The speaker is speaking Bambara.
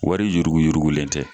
Wari yuruguyurugulen tɛ.